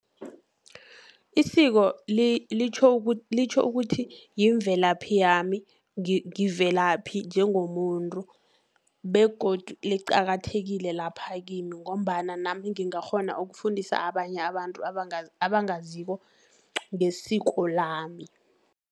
Isiko litjho ukuthi yimvelaphi yami, ngivelaphi njengomuntu, begodu liqakathekile lapha kimi, ngombana nami ngingakghona ukufundisa abanye abantu abangaziko ngesiko lami.